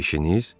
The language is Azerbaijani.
İşiniz?